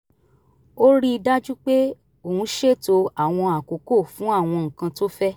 ó rí i dájú pé òun ṣètò àwọn àkókò fún àwọn nǹkan tó fẹ́